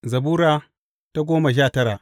Zabura Sura goma sha tara